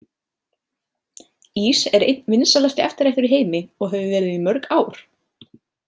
Ís er einn vinsælasti eftirréttur í heimi og hefur verið í mörg ár.